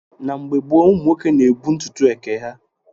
Na mgbe gboo, ụmụ nwoke na-ebu ntutu eke ha.